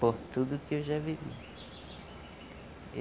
Por tudo que eu já vivi.